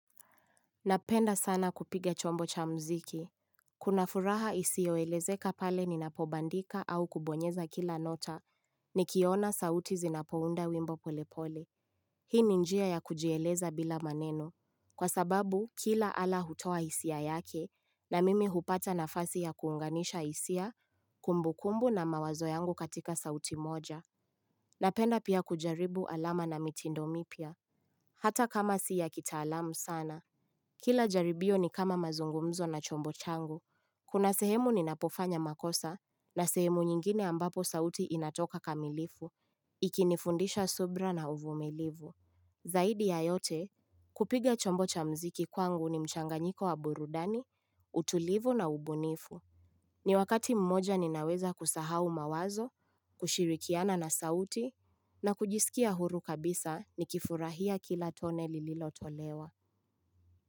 Napenda sana kupiga chombo cha muziki. Kuna furaha isiyo elezeka pale ninapobandika au kubonyeza kila nota, nikiona sauti zinapounda wimbo polepole. Hii ni njia ya kujieleza bila maneno. Kwa sababu, kila ala hutoa hisia yake, na mimi hupata nafasi ya kuunganisha hisia, kumbukumbu na mawazo yangu katika sauti moja. Napenda pia kujaribu alama na mitindo mipya. Hata kama si ya kitaalamu sana. Kila jaribio ni kama mazungumzo na chombo changu, kuna sehemu ninapofanya makosa na sehemu nyingine ambapo sauti inatoka kamilifu, ikinifundisha subra na uvumilivu. Zaidi ya yote, kupiga chombo cha muziki kwangu ni mchanganyiko wa burudani, utulivu na ubunifu. Ni wakati mmoja ninaweza kusahau mawazo, kushirikiana na sauti, na kujisikia huru kabisa nikifurahia kila tone lililotolewa.